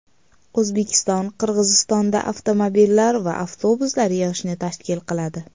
O‘zbekiston Qirg‘izistonda avtomobillar va avtobuslar yig‘ishni tashkil qiladi.